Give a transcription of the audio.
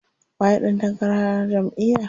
Waye ɗan takarar jamʼiyar?